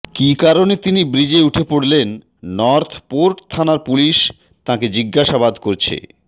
কি কারণে তিনি ব্রিজে উঠে পড়লেন নর্থ পোর্ট থানার পুলিশ তাঁকে জিজ্ঞাসাবাদ করছে